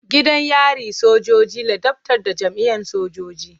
Gidan yari na sojoji ladabtar da jami'an sojoji.